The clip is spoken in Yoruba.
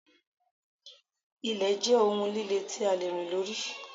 Ilẹ̀ jẹ́ ohun líle tí a lè rìn lórí.